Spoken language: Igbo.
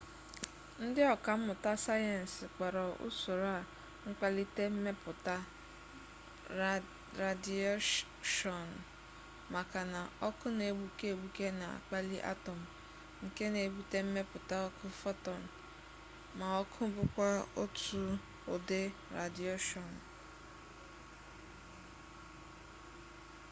ndị ọkammụta sayensị kpọrọ usoro a mkpalite mmepụta radiyeshọnụ maka na ọkụ na-egbuke egbuke na-akpali atọm nke na-ebute mmepụta ọkụ fotọn ma ọkụ bụkwa otu ụdị radiyeshọnụ